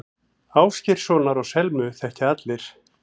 Ásgeirssonar og Selmu þekkja allir.